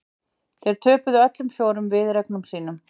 Þau töpuðu öllum fjórum viðureignum sínum